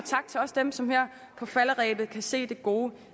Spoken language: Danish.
også dem som her på falderebet kan se det gode